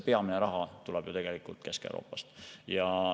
Peamine raha tuleb tegelikult Kesk-Euroopast.